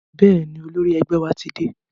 Bẹ́ẹ̀ni, olórí ẹgbẹ́ wa ti dé.